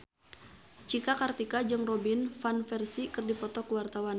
Cika Kartika jeung Robin Van Persie keur dipoto ku wartawan